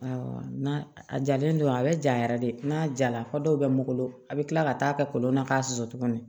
n'a a jalen don a bɛ ja yɛrɛ de n'a jara fɔ dɔw bɛ n bolo a bɛ kila ka taa kɛ kolon na k'a susu tuguni